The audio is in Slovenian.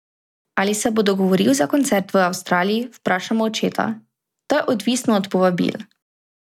Ali se bo dogovoril za koncert v Avstraliji, vprašamo očeta: "To je odvisno od povabil.